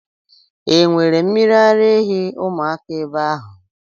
E nwere mmiri ara ehi ụmụaka ebe ahụ?